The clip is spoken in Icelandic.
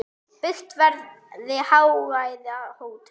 Byggt verði hágæða hótel.